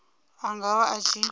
a nga vha a tshi